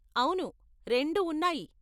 అవును, రెండు ఉన్నాయి.